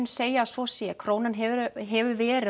segja að svo sé krónan hefur hefur verið